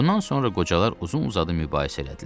Bundan sonra qocalar uzun-uzadı mübahisə elədilər.